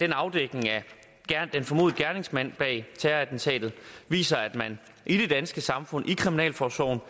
afdækningen af den formodede gerningsmand bag terrorattentatet viser at man i det danske samfund i kriminalforsorgen